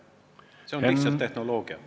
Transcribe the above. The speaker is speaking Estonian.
See on lihtsalt tehnoloogia.